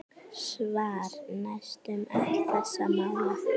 Svar: Næstum öll þessara mála